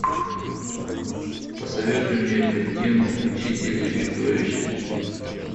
посоветуй мне картину учитель и чудовище